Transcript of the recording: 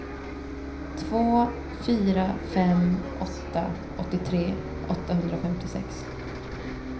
två fyra fem åtta åttiotre åttahundrafemtiosex